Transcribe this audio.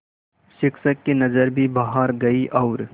शिक्षक की नज़र भी बाहर गई और